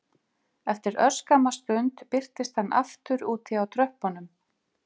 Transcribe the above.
Eftir örskamma stund birtist hann aftur úti á tröppunum